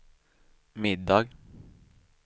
middag